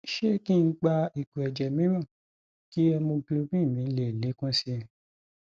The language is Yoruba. sé kih n gba ìgò èjẹ mìíràn kí hemoglobin mi le lékún sí i